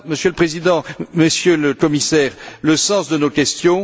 Voilà, Monsieur le Président, Monsieur le Commissaire, le sens de nos questions.